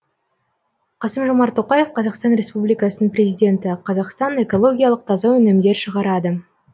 қасым жомарт тоқаев қазақстан республикасының президенті қазақстан экологиялық таза өнімдер шығарады